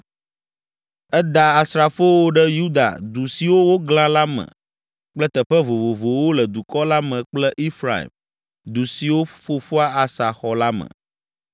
Eda asrafowo ɖe Yuda du siwo woglã la me kple teƒe vovovowo le dukɔ la me kple Efraim, du siwo fofoa Asa xɔ la me.